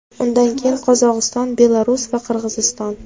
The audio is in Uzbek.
Undan keyin Qozog‘iston, Belarus va Qirg‘iziston.